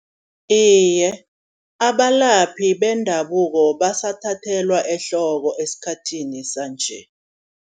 Iye abalaphi bendabuko basathathelwa ehloko esikhathini sanje.